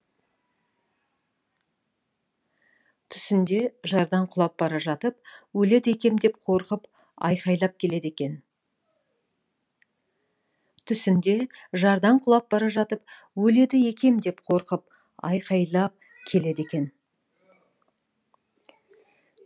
түсінде жардан құлап бара жатып өледі екем деп қорқып айқайлап келеді екен